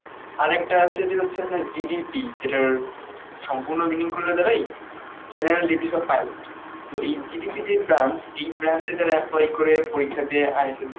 আরেকটা আছে যে হচ্ছে যে GDP যেটার সম্পূর্ণ meaning করলে দাঁড়ায় general duties of pilot. তো এই g d p যে branch, এই branch এ যারা প্রয়োগ করে পরীক্ষা দিয়ে ISSB